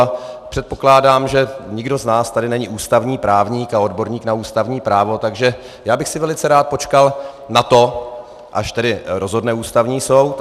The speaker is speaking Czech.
A předpokládám, že nikdo z nás tady není ústavní právník a odborník na ústavní právo, takže já bych si velice rád počkal na to, až tedy rozhodne Ústavní soud.